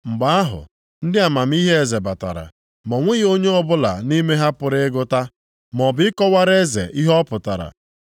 Mgbe ahụ, ndị amamihe eze batara, ma o nweghị onye ọbụla nʼime ha pụrụ ịgụta, maọbụ ịkọwara eze ihe ọ pụtara.